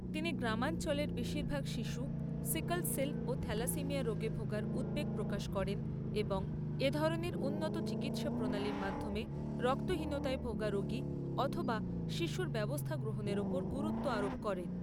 তিনি গ্রামাঞ্চলের বেশীরভাগ শিশু সিকল সেল ও থ্যালাসেমিয়া রোগে ভোগায় উদ্বেগ প্রকাশ করেন এবং এ ধরণের উন্নত চিকিৎসা প্রণালীর মাধ্যমে রক্তহীনতায় ভোগা রোগী অথবা শিশুর ব্যবস্থা গ্রহণের ওপর গুরুত্ব আরোপ করেন।